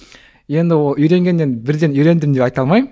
енді ол үйренгеннен бірден үйрендім деп айта алмаймын